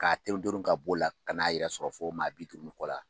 K'a terun terun k'a b'o la ka n'an yɛrɛ fo maa bi duuru ni kɔ la.